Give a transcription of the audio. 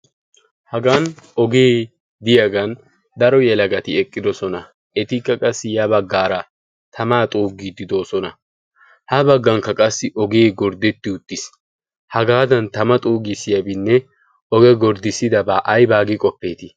hagan ogee diyaagan daro yalagati eqqidosona etikka qassi ya baggaara tamaa xuugiiddi doosona ha baggankka qassi ogee gorddetti uttiis hagaadan tama xougissiyaabinne oge gorddissidabaa ai baagi qoppeetii